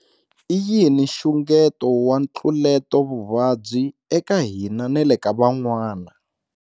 I yini nxungeto wa ntluletovuvabyi eka hina na le ka van'wana?